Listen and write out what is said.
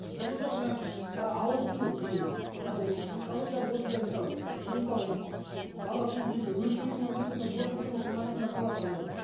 физиологиялық жағы жаңа ауырсыну дененің ал психологиялық осындай мысалы мен мысалы бала туу кезінде өліп кетуім мүмкін деген қорқыныштар оның санасында болады адамдардың